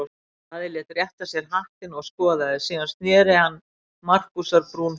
Daði lét rétta sér hattinn og skoðaði, síðan sneri hann Markúsar-Brún frá.